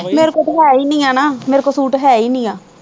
ਮੇਰੇ ਕੋਲ ਤਾਂ ਹੈ ਹੀ ਨੀ ਹੈ ਨਾ ਮੇਰੇ ਕੋਲ ਸੂਟ ਹੈ ਹੀ ਨੀ ਹੈ